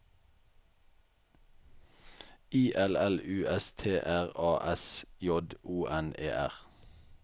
I L L U S T R A S J O N E R